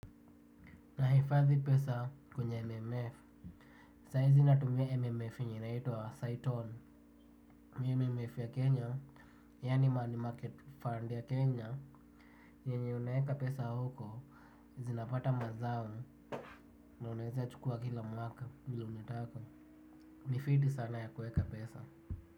Nahifadhi pesa, kwenye MMF. Saizi natumia MMF yenye inaitwa, Saiton. MMMF ya Kenya, yani money market fund ya Kenya, ni yenye unaeka pesa huko, zinapata mazao na unaeza chukua kila mwaka, vile unataka. Ni fiti sana ya kueka pesa.